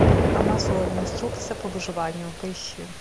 амазония инструкция по выживанию поищи